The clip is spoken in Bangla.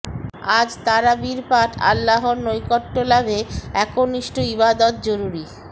আজ তারাবির পাঠ আল্লাহর নৈকট্য লাভে একনিষ্ঠ ইবাদত জরুরি